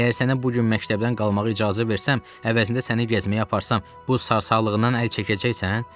Əgər sənə bu gün məktəbdən qalmağa icazə versəm, əvəzində səni gəzməyə aparsam, bu sarsaqlığından əl çəkəcəksən?